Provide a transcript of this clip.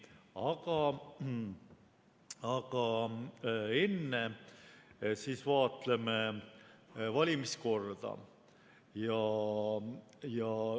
Aga enne vaatleme valimiskorda.